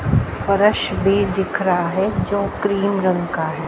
फर्श भी दिख रहा है जो क्रीम का है।